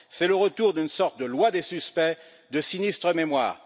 C'est le retour d'une sorte de loi des suspects, de sinistre mémoire.